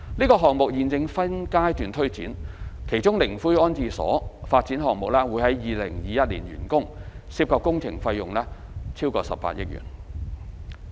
該項目現正分階段推展，其中靈灰安置所發展項目將於2021年完工，涉及工程費用超過18億元。